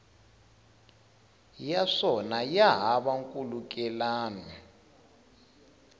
ya swona ya hava nkhulukelano